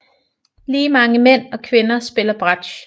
Lige mange mænd og kvinder spiller bratsch